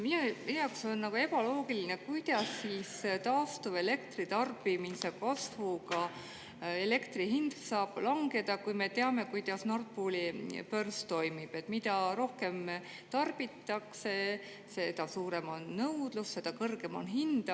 Minu jaoks on ebaloogiline, kuidas siis taastuvelektritarbimise kasvuga elektri hind saab langeda, kui me teame, kuidas Nord Pooli börs toimib, et mida rohkem tarbitakse, seda suurem on nõudlus ja seda kõrgem on hind.